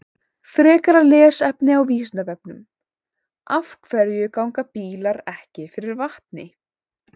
Frekara lesefni á Vísindavefnum: Af hverju ganga bílar ekki fyrir vatni?